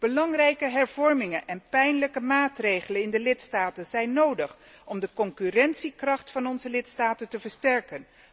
Belangrijke hervormingen en pijnlijke maatregelen in de lidstaten zijn nodig om de concurrentiekracht van onze lidstaten te versterken.